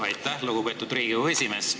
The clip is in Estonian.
Aitäh, lugupeetud Riigikogu esimees!